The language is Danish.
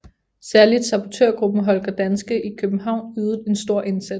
Særligt sabotørgruppen Holger Danske i København ydede en stor indsats